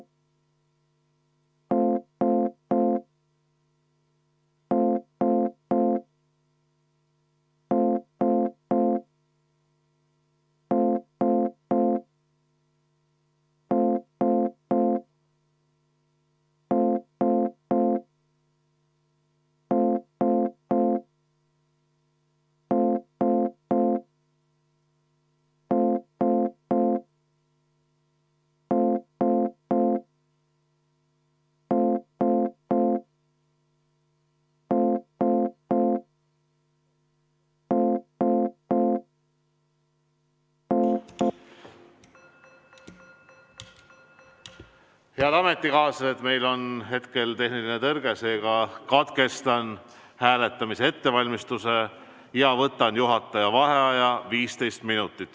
Head ametikaaslased, meil on hetkel tehniline tõrge, seega katkestan hääletamise ettevalmistamise ja võtan juhataja vaheaja 15 minutit.